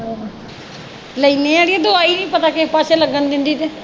ਲੈਣੇ ਅੜੀਏ ਦਵਾਈ ਨਹੀਂ ਪਤਾ ਕਿਹੇ ਪਾਸੇ ਲੱਗਣ ਦਿੰਦੀ ਤੇ